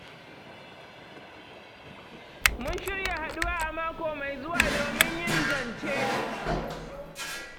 Mun shirya haɗuwa a mako mai zuwa domin yin zance.